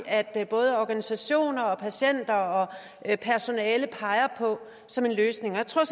at både organisationer patienter og personale peger på som en løsning jeg tror